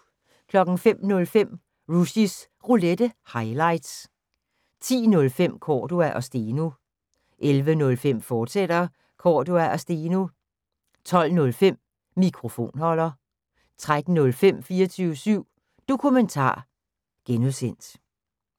05:05: Rushys Roulette – highlights 10:05: Cordua & Steno 11:05: Cordua & Steno, fortsat 12:05: Mikrofonholder 13:05: 24syv Dokumentar (G)